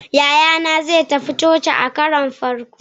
yayana zai tafi coci a karon farko